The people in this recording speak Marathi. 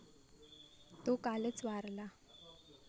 तो कालच वारला.